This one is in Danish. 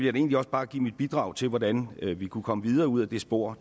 egentlig også bare give mit bidrag til hvordan vi kunne komme videre ud ad det spor